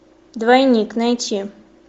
двойник найти